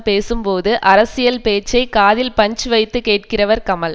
பேசும்போது அரசியல் பேச்சை காதில் பஞ்சு வைத்து கேட்கிறவர் கமல்